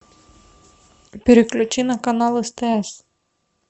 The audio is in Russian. переключи на канал стс